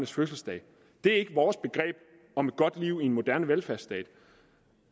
fødselsdag det er ikke vores begreb om et godt liv i en moderne velfærdsstat